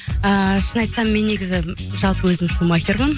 ыыы шын айтсам пен негізі жалпы өзім шумахермын